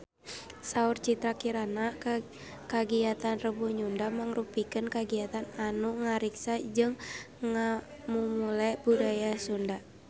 Saur Citra Kirana kagiatan Rebo Nyunda mangrupikeun kagiatan anu ngariksa jeung ngamumule budaya Sunda